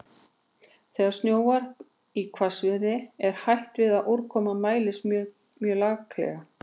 Þegar snjóar í hvassviðri er hætt við að úrkoman mælist mjög laklega.